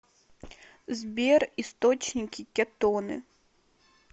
сбер источники кетоны